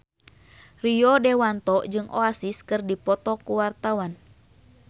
Rio Dewanto jeung Oasis keur dipoto ku wartawan